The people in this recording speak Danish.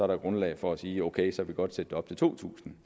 grundlag for at sige ok så kan vi godt sætte det op til to tusind